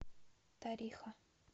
тариха